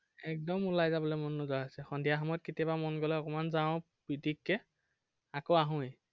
একদম উলাই যাবলে মন নোযোৱা হৈছে, সন্ধিয়া সময়ত কেতিয়াবা মন গলে অকন মান যাঁও পিটিককে। আকৌ আহোয়ে।